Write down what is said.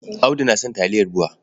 Audu na son taliyar BUA.